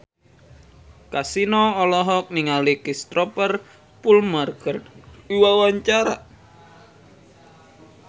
Kasino olohok ningali Cristhoper Plumer keur diwawancara